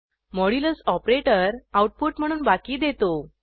modulus operator output म्हणून बाकी देतो